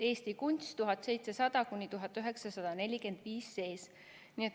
Eesti kunst 1700–1945".